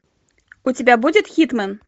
у тебя будет хитмэн